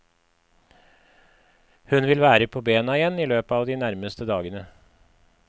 Hun vil være på bena igjen i løpet av de nærmeste dagene.